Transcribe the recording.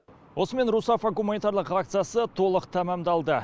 осымен русафа гуманитарлық акциясы толық тәмамдалды